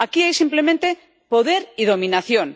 Aquí hay simplemente poder y dominación.